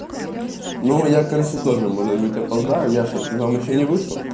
ну я короче тоже может быть опоздаю я что ты там ещё не вышел